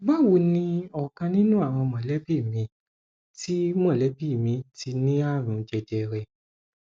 báwo ni ọkan nínú àwọn mọlẹbí mi ti mọlẹbí mi ti ní àrùn jẹjẹrẹ